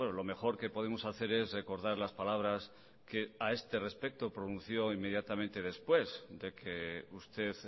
lo mejor que podemos hacer es recordar las palabras que a este respecto pronunció inmediatamente después de que usted